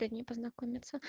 приятно познакомиться